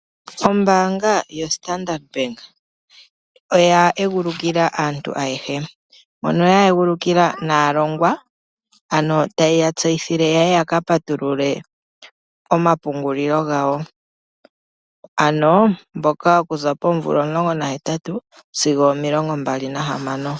Ombaanga yoStandard Bank , oya egulukila aantu aehe. Mono ya egulukila naalongwa , tayeya tseyithile yaye yaka patulule ompungulilo gawo ano mboka okuza poomvula 18 sigo 26.